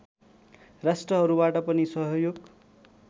राष्ट्रहरूबाट पनि सहयोग